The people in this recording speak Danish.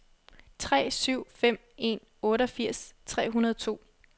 tre syv fem en otteogfirs tre hundrede og to